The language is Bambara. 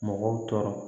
Mɔgɔw tɔɔrɔ